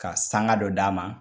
Ka sanga dɔ d'a ma